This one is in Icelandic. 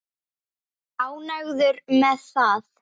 Ánægður með það?